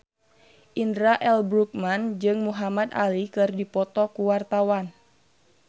Indra L. Bruggman jeung Muhamad Ali keur dipoto ku wartawan